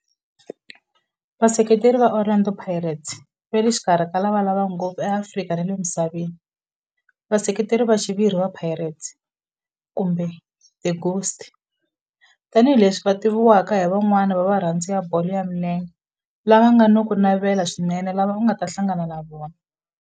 Vaseketeri va Orlando Pirates va le xikarhi ka lava lavaka ngopfu eAfrika na le misaveni, Vaseketeri va xiviri va Pirates, kumbe the Ghost, tani hi leswi va tiviwaka hi van'wana va varhandzi va bolo ya milenge lava nga na ku navela swinene lava u nga ta hlangana na vona.